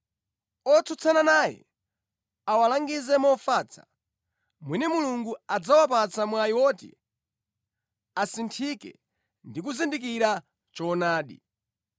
Otsutsana naye awalangize mofatsa, mwina Mulungu adzawapatsa mwayi woti asinthike ndi kuzindikira choonadi.